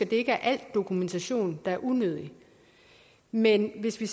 det ikke er al dokumentation der er unødig men hvis vi